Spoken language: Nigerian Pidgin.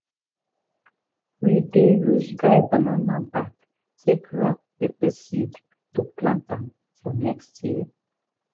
we dey use dry banana back take wrap pepper seed to plant am for next year.